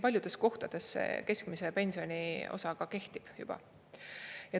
Paljudes kohtades see keskmise pensioni osa kehtib juba.